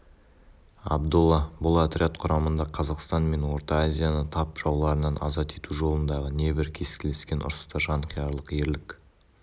абдолла бұл отряд құрамында қазақстан мен орта азияны тап жауларынан азат ету жолындағы небір кескілескен ұрыста жанқиярлық ерлік